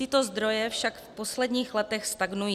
Tyto zdroje však v posledních letech stagnují.